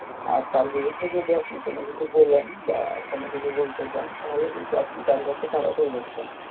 হ্যাঁ তার বিরুদ্দে যদি আপনি কোনও কিছু বলেন বা কোনও কিছু বলতে চান তাহলে কিন্তু আপনি তার কাছে খারাপ হয়ে যাচ্ছেন